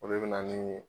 O de bɛ na ni